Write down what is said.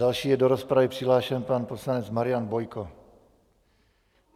Další je do rozpravy přihlášen pan poslanec Marian Bojko.